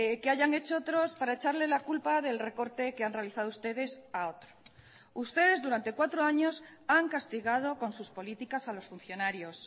que hayan hecho otros para echarle la culpa del recorte que han realizado ustedes a otro ustedes durante cuatro años han castigado con sus políticas a los funcionarios